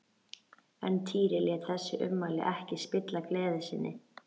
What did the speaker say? En Týri lét þessi ummæli ekki spilla gleði sinni.